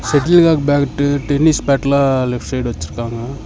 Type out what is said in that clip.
Settle காக் bat tennis பேட்டெல்லா left side வெச்சுருக்காங்க.